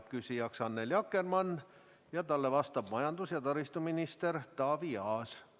Küsija on Annely Akkermann ja talle vastab majandus- ja taristuminister Taavi Aas.